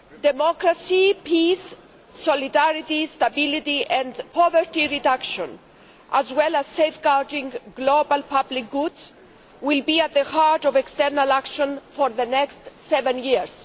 Democracy, peace, solidarity, stability and poverty reduction, as well as safeguarding global public goods, will be at the heart of external action for the next seven years.